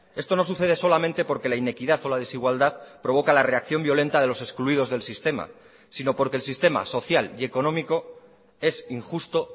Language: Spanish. esto nos sucede solamente porque la inequidad o la desigualdad provoca la reacción violenta de los excluidos del sistema sino porque el sistema social y económico es injusto